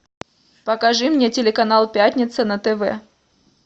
покажи мне телеканал пятница на тв